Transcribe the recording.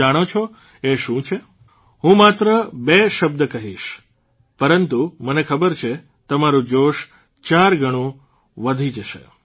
જાણો છો એ શું છે હું માત્ર બે શબ્દ કહીશ પરંતુ મને ખબર છે તમારૂં જોશ ચારગણાથી વધારે વધી જશે